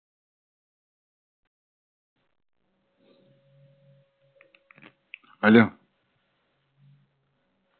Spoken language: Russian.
алло